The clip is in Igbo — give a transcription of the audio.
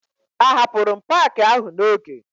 Ahapụrụ m paakị ahụ n'oge